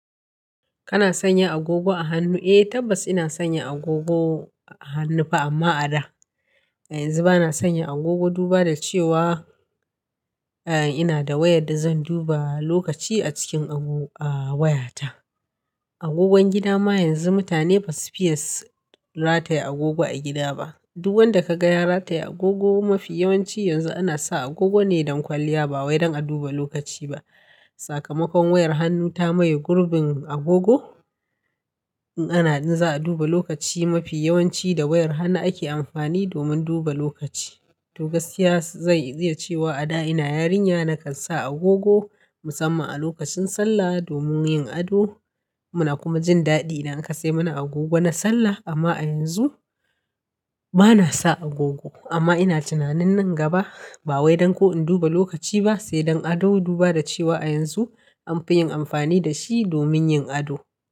Kana sanya agogo a hannu? Eh tabbas ina sanya agogo a hannu fa amma a da. A yanzu bana sanya agogo duba da cewa, eh ina da wayar da zan duba lokaci a cikin a waya ta. Agogon gida ma yanzu mutane basu fiye rataya agogo a gida ba. Duk wanda ka ga ya rataya agogo mafi yawanci yanzu ana sa agogo ne don kwalliya ba wai don a duba lokaci ba. Sakamakon wayar hannu ta maye gurbin agogo. In ana za a duba lokaci mafi yawanci da wayar hannu ake amfani domin duba lokaci. To gaskiya zai zai ce wa a da ina yarinya nakan sa agogo musamman a lokacin sallah domin yin ado. Muna kuma jin daɗi idan aka sai mana agogo na sallah. Amma a yanzu bana sa agogo amma ina tunanin nan gaba ba wai don ko in duba lokaci ba sai don ado duba da cewa a yanzu an fi yin amfani da shi domin yin ado.